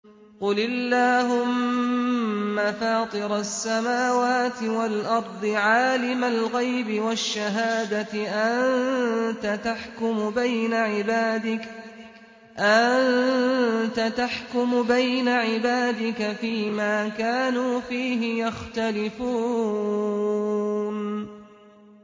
قُلِ اللَّهُمَّ فَاطِرَ السَّمَاوَاتِ وَالْأَرْضِ عَالِمَ الْغَيْبِ وَالشَّهَادَةِ أَنتَ تَحْكُمُ بَيْنَ عِبَادِكَ فِي مَا كَانُوا فِيهِ يَخْتَلِفُونَ